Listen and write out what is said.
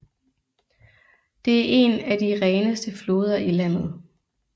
Det er en af de reneste floder i landet